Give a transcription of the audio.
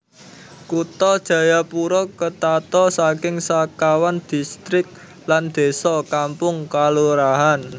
Kutha Jayapura ketata saking sekawan distrik lan désa/kampung/kalurahan